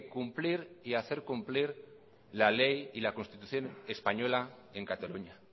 cumplir y hacer cumplir la ley y la constitución española en cataluña